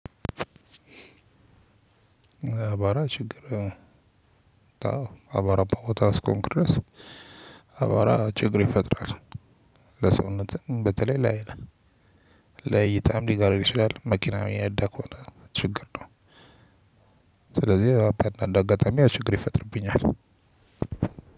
አቧራ ችግር አዎ አቧራማ ቦታ እስከ ሆንኩ ድረስ አቧራ ችግር ይፈጥራል። ለሰውነትም በተለይ ለአይን ለእይታም ሊጋርድ ይችላል። መኪና እየነዳህ ከሆነ ችግር ነው ስለዚ እንደ አጋጣሚ ችግር ይፈጥርብኛል